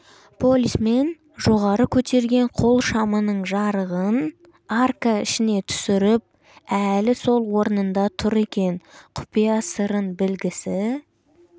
полисмен жоғары көтерген қол шамының жарығын арка ішіне түсіріп әлі сол орнында тұр екен құпия сырын білгісі